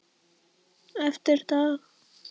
Eftir dag.